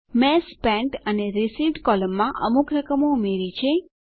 મેં સ્પેન્ટ અને રિસીવ્ડ કોલમોમાં અમુક રકમો ઉમેરી છે